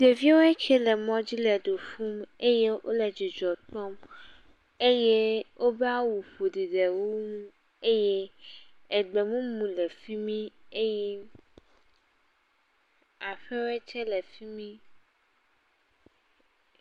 Ɖeviwo ke le mɔdzi le du ƒum eye wole dzidzɔ kpɔm eye wodo awu ƒoɖi le wo ŋu eye egbe mumu le fi mi eye aƒewe tse le fi mi.